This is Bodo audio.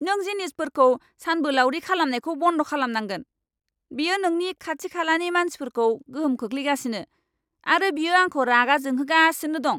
नों जिनिसफोरखौ सानबोलावरि खालामनायखौ बन्द खालामनांगोन। बेयो नोंनि खाथि खालानि मानसिफोरखौ गोहोम खोख्लैगासिनो आरो बियो आंखौ रागा जोंहोगासिनो दं।